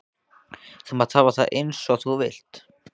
Þú mátt hafa það eins og þú vilt.